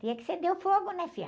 Tinha que acender o fogo, né, filha?